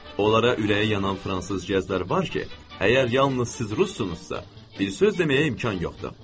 Onlara ürəyi yanan fransız gəzlər var ki, əgər yalnız siz rusunuzsa, bir söz deməyə imkan yoxdur.